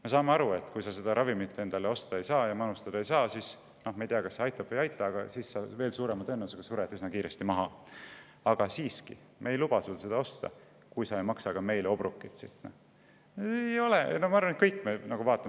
Me saame aru, et kui sa seda ravimit osta ja manustada ei saa – me ei tea, kas see aitab või ei aita –, siis sa veel suurema tõenäosusega sured üsna kiiresti maha, aga me ei luba sul seda osta, kui sa selle pealt meile obrokit ei maksa.